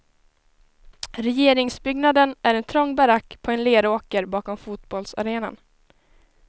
Regeringsbyggnaden är en trång barack på en leråker bakom fotbollsarenan.